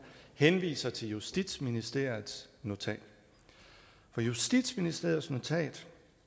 henviser til justitsministeriets notat for justitsministeriets notat